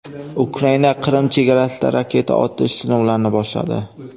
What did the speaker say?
Ukraina Qrim chegarasida raketa otish sinovlarini boshladi.